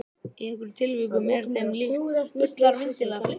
Í einhverjum tilvikum er þeim líkt við ullarvindil eða flyksu.